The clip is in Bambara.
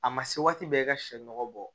A ma se waati bɛɛ i ka sɛ nɔgɔ bɔ